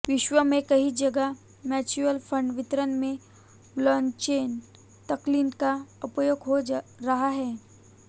विश्व में कई जगह म्युचुअल फंड वितरण में ब्लॉकचेन तकनीक का उपयोग हो रहा है